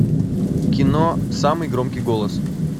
кино самый громкий голос